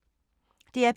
DR P2